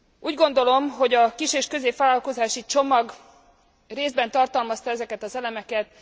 Úgy gondolom, hogy a kis és középvállalkozási csomag részben tartalmazta ezeket az elemeket.